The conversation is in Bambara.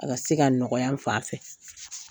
A ka se ka nɔgɔya n fan fɛ,